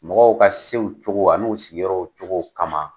Mɔgɔw ka sew cogo an'u sigiyɔrɔw cogo kama.